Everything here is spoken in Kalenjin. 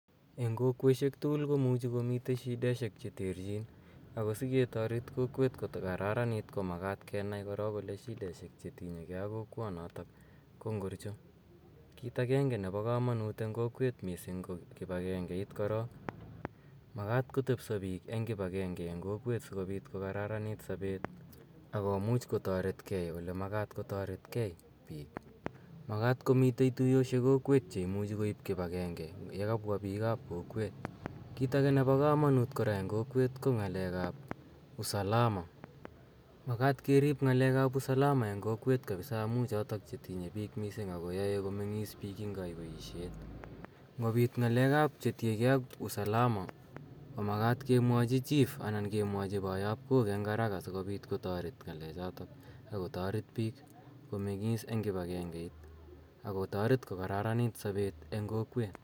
Eng' kokweshek tugul komuchi komitei shideshek che terchin ako siketaret kokwet kokararanit komakat kenai korok shideshek che tinye gei ak kokwanatak ko ngorcho. Kiit agenge nepo kamanuut eng' kokwet missing ko kip agengeit korok. Makat kotepisa piik eng' kipagege eng' kokweet si kopit kokararanit sapet ako much kotaret gei ole makat kotaret gei piik. Makat komitei tuyoshek kokwet che imuchi koip kipagenge ye kapwa piik ap kokweet. Kiit age kora nepo kamanut eng' kokweet ko ng'aleek ap usalama. Makat kerip ng'alek ap usalama eng' kokweet missing' amu chotok che tinye gei ak piik missing' ako yae komeng'iss piik eng' kaiyweishet. Ngopiit ng'alek ap, chetinye gei ak usalama, komakat kemwachi chief ana kemwachi poyopkok eng' haraka si kopit kotaret ng'alechotok ako taret piik komeng'iss eng' kipagengeit ako taret kokararanit sapet ebg' kokwet.